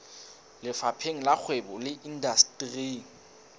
lefapheng la kgwebo le indasteri